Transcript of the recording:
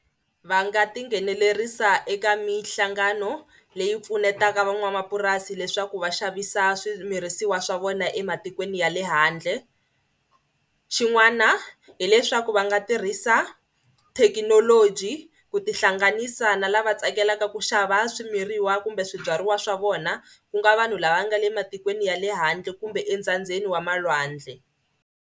Va nga tinghenelerisa eka mihlangano leyi pfunetaka van'wamapurasi leswaku va xavisa swimirisiwa swa vona ematikweni ya le handle. Xin'wana hileswaku va nga tirhisa thekinoloji ku tihlanganisa na lava tsakelaka ku xava swimiriwa kumbe swibyariwa swa vona ku nga vanhu lava nga le matikweni ya le handle kumbe entsandzeni wa malwandle.